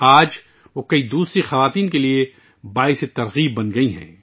آج وہ بہت سی دوسری خواتین کے لیے ایک تحریک بن گئی ہیں